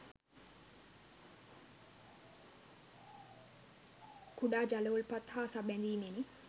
කුඩා ජල උල්පත් හා සබැඳීමෙනි